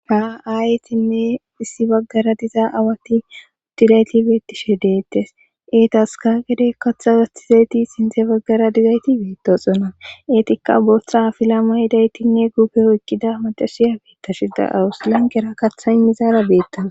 Ha ayetinne issi baggara dizaa awaati uutiraget beettishe deettes. Eetaska gede katha gastizayti sinte baggara diyageti beettosona. Eetikka bootta afala mayidageetinne guupe oyiqqida macasiya beettashida lanqqiyara katha miziyara beettawusu.